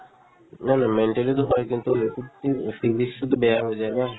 না না mentally তো হয় কিন্তু বেয়া হৈ যায় ন